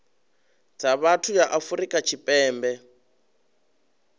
dza vhathu ya afrika tshipembe